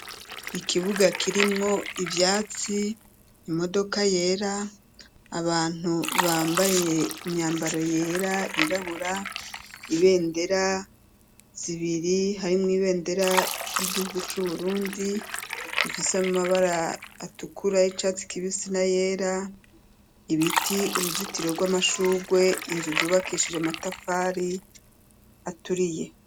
Ikibuga, kirimwo ivyatsi, imodoka yera, abantu, bambaye imyambaro yera, yirabura; ibendera zibiri, harimwo ibendera y'igihugu c'Uburundi, ifise amabara atukura, y'icatsi kibisi n'ayera; ibiti, uruzitiro rw'amashurwe; inzu, zubakishije amatafari aturiye.